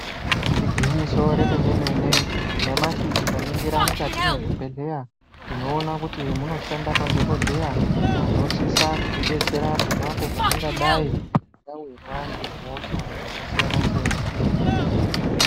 Igwinyiso remene mene nyamashi tikaningira mukati mwezvibhedhleya tinoona kuti munoshanda madhokodheya anosisa kutidetsera ponapo patingadai tawirwa ngehosha dzakasiyana siyana.